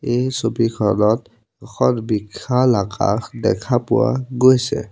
এই ছবিখনত এখন বিখাল আকাশ দেখা পোৱা গৈছে।